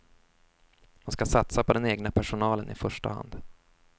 Man ska satsa på den egna personalen i första hand.